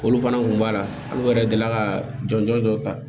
Olu fana kun b'a la olu yɛrɛ deli ka jɔnjɔn dɔ ta